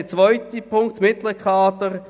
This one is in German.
Zum zweiten Punkt betreffend das mittlere Kader: